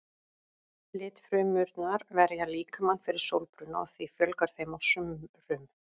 Litfrumurnar verja líkamann fyrir sólbruna og því fjölgar þeim á sumrum.